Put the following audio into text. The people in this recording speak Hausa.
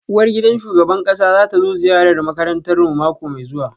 Uwargidan shugaban kasa za ta zo ziyarar makarantarmu mako mai zuwa